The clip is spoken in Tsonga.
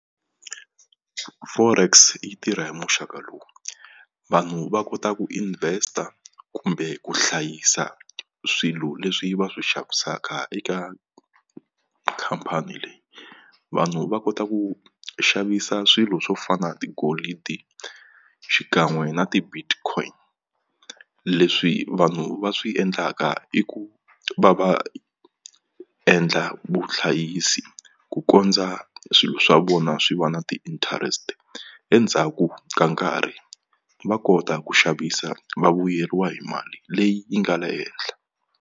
Forex yi tirha hi muxaka lowu vanhu va kota ku invest-a kumbe ku hlayisa swilo leswi va swi xavisaka eka khampani leyi vanhu va kota ku xavisa swilo swo fana tigolidi xikan'we na ti-Bitcoin leswi vanhu va swi endlaka i ku va va endla vuhlayisi ku kondza swilo swa vona swi va na ti-interest endzhaku ka nkarhi va kota ku xavisa va vuyeriwa hi mali leyi yi nga le henhla.